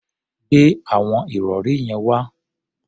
Gbe àwọn ìrọ̀rí yẹn wá!